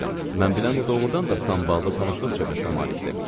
Mən bilən o doğurdan da samballı tanışlıq çevrəsinə malikdir.